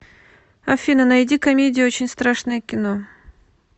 афина найди комедию очень страшное кино